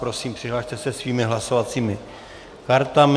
Prosím přihlaste se svými hlasovacími kartami.